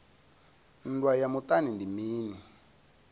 nndwa ya muṱani ndi mini